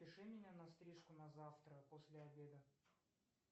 запиши меня на стрижку на завтра после обеда